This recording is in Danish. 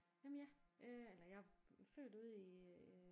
Jamen ja øh eller jeg er født ude i øh